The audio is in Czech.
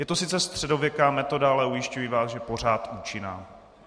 Je to sice středověká metoda, ale ujišťuji vás, že pořád účinná.